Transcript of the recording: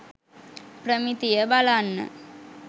ප්‍රමිතිය බලන්න